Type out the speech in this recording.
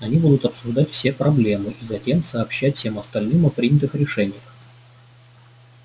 они будут обсуждать все проблемы и затем сообщать всем остальным о принятых решениях